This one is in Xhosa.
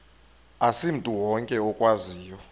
asimntu wonke okwaziyo